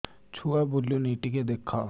ଛୁଆ ବୁଲୁନି ଟିକେ ଦେଖ